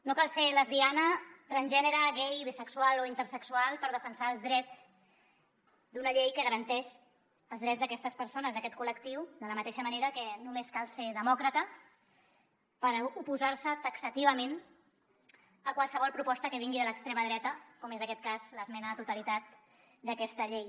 no cal ser lesbiana transgènere gai bisexual o intersexual per defensar els drets d’una llei que garanteix els drets d’aquestes persones d’aquest col·lectiu de la mateixa manera que només cal ser demòcrata per oposar se taxativament a qualsevol proposta que vingui de l’extrema dreta com és aquest cas l’esmena a la totalitat d’aquesta llei